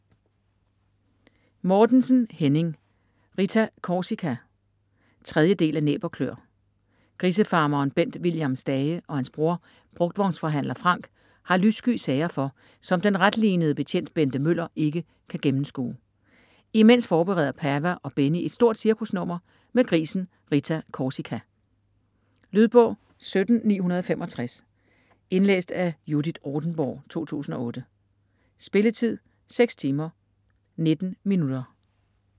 Mortensen, Henning: Rita Korsika 3. del af Næb og kløer. Grisefarmeren Bent William Stage og hans bror brugtvognsforhandler Frank har lyssky sager for, som den retlinede betjent Bente Møller ikke kan gennemskue. Imens forbereder Pava og Benny et stort cirkusnummer med grisen Rita Korsika. Lydbog 17965 Indlæst af Judith Rothenborg, 2008. Spilletid: 6 timer, 19 minutter.